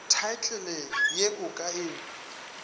thaetlele ye o ka e